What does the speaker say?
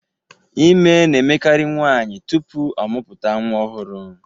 Ime na-emekari nwaanyị tupuu ọmụpụta nwa ọhụrụ.